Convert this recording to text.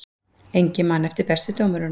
Enginn man eftir bestu dómurunum